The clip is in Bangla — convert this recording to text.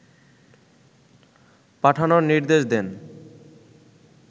পাঠানোর নির্দেশ দেন